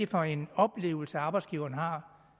for en oplevelse arbejdsgiveren har